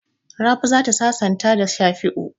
Rabi za ta sasanta da Shafi'u.